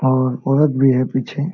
और औरत भी है पीछे ।